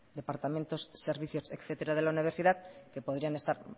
departamentos servicios etcétera de la universidad que podrían estar